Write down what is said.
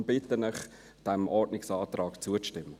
Deshalb bitte ich Sie, diesem Ordnungsantrag zuzustimmen.